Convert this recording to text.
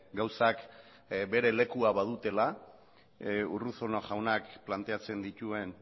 gauzak bere lekua badutela urruzuno jaunak planteatzen dituen